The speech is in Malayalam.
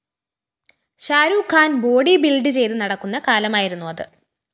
ഷാരൂഖ് ഖാൻ ബോഡി ബിൽഡ്‌ ചെയ്ത് നടക്കുന്ന കാലമായിരുന്നു അത്